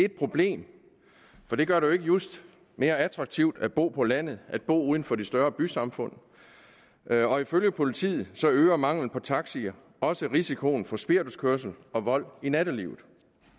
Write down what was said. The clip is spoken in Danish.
et problem for det gør det ikke just mere attraktivt at bo på landet at bo uden for de større bysamfund ifølge politiet øger mangelen på taxier også risikoen for spirituskørsel og vold i nattelivet